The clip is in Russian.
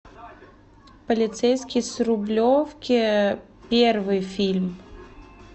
полицейский с рублевки первый фильм